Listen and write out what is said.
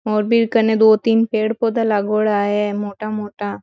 और बीर कने दो तीन पेड़ पौधा लागोडा है मोटा मोटा।